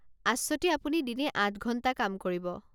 আশ্বতী আপুনি দিনে আঠ ঘণ্টা কাম কৰিব।